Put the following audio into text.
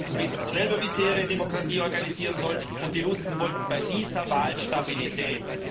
Die Russen wissen selber, wie sie ihre Demokratie organisieren sollen, und die Russen wollten bei dieser Wahl Stabilität.